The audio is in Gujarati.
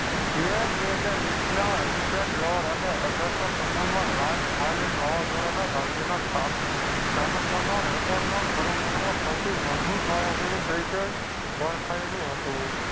બે હજારવીસના હરિકેન લોર અને અઢારસો છપ્પનમાં Last Island વાવાઝોડાના